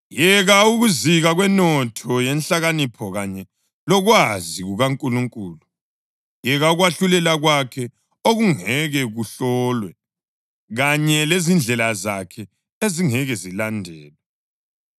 Yeka ukuzika kwenotho yenhlakanipho kanye lokwazi kukaNkulunkulu! Yeka ukwahlulela kwakhe okungeke kuhlolwe, kanye lezindlela zakhe ezingeke zilandelwe!